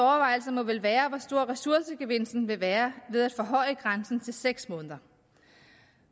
må vel være hvor stor ressourcegevinsten vil være ved at forhøje grænsen til seks måneder